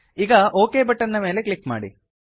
ಈಗ okay button ಮೇಲೆ click ಮಾಡಿ